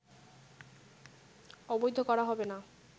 অবৈধ করা হবে না